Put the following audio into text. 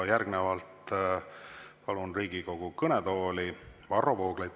Järgnevalt palun Riigikogu kõnetooli Varro Vooglaiu.